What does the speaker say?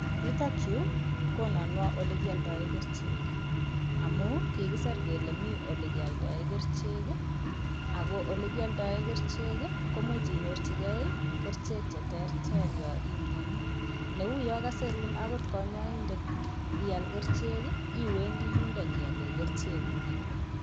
Yutokyu kononwo ole kioldoe kerichek, amu kikiser kele mi olekeoldoe kerichek ii, ako olekioldoe kerichek ii, komuch inyorchikei ii, kerichek che terter yo imioni, neu yo kasirun akot kanyaindet ial kerichek ii, iwendi yundo nyiale kerichekuk.